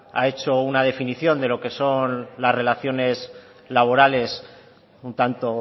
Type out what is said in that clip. ha hecho una definición de lo que son las relaciones laborales un tanto